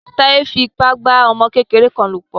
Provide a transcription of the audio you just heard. Táyé fi ipa bá ọmọ kékeré kan lò pọ̀.